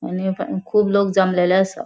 आणि अ कुब लोग जमलेले आसा.